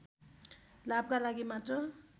लाभका लागि मात्र